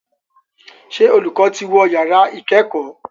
Ṣé olùkọ́ ti wọ yàrá ìkẹ́kọ̀ọ́?